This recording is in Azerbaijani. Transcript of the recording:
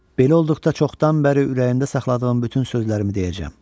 Belə olduqda çoxdan bəri ürəyində saxladığım bütün sözlərimi deyəcəm.